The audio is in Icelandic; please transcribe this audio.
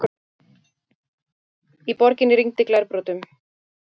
Í borginni rigndi glerbrotum